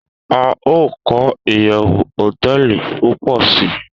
A o ko iyewu hoteeli pupo si